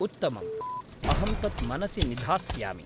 उत्तमम्। अहं तत् मनसि निधास्यामि।